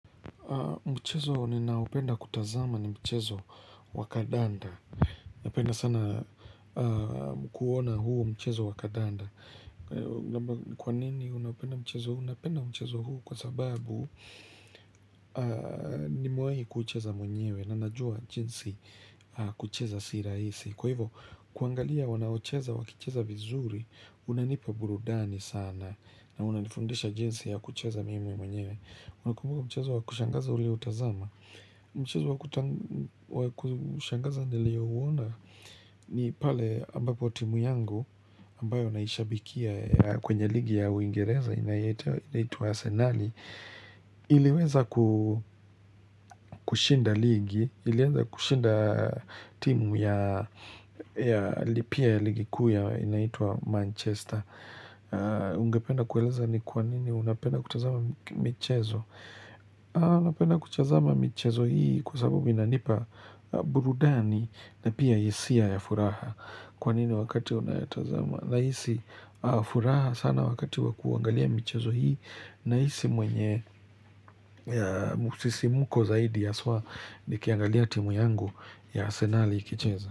Mchezo ninaopenda kutazama ni mchezo wakadanda Napenda sana kuona huu mchezo wakadanda Kwa nini unapenda mchezo huu? Unapenda mchezo huu kwa sababu ni mwai kucheza mwenyewe Nanajua jinsi kucheza sirahisi Kwa hivo kuangalia wanaocheza wakucheza vizuri unanipa burudani sana na unanifundisha jinsi ya kucheza mimi mwenyewe mchezo wa kushangaza ulio tazama mchazo wa kushangaza ndile uwona ni pale ambapo timu yangu ambayo naishabikia kwenye ligi ya uingereza inaitua arsenali iliweza kushinda ligi iliweza kushinda timu ya lipia ya ligi kuya inaitua manchester ungependa kueleza ni kwa nini unapenda kutazama michezo Alapena kuchazama michezo hii kusabubi na nipa burudani na pia isia ya furaha Kwanini wakati unayatazama naisi furaha sana wakati wakuangalia michezo hii naisi mwenye musisi muko zaidi aswa ni kiangalia timu yangu ya asenali kicheza.